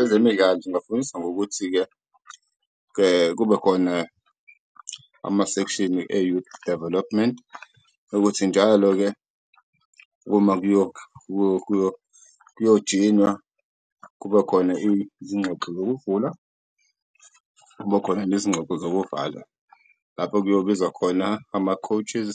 Ezemidlalo zingafundisa ngokuthi-ke kekube khona amasekishini e-youth development okuthi njalo-ke uma kuyojinywa kube khona izingxoxo zokuvula, kube khona nezingxoxo zokuvala. Lapho kuyobuzwa khona ama-coaches,